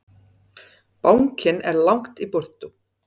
Bankinn er langt í burtu.